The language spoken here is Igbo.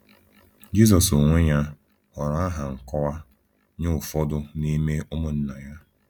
Jizọs onwe ya họọrọ aha nkọwa nye ụfọdụ n’ime ụmụnna ya.